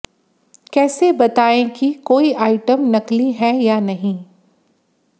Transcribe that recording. कैसे बताएं कि कोई आइटम नकली है या नहीं